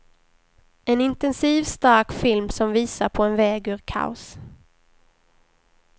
En intensiv, stark film som visar på en väg ur kaos.